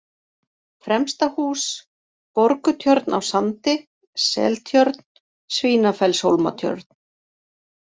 Fremstahús, Borgutjörn á Sandi, Seltjörn, Svínafellshólmatjörn